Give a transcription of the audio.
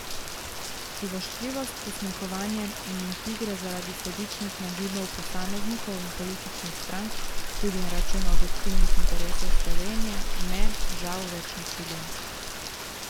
Privoščljivost, posmehovanje in intrige zaradi sebičnih nagibov posameznikov in političnih strank, tudi na račun objektivnih interesov Slovenije, me, žal, več ne čudijo.